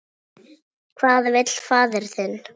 Hvað vill faðir þinn?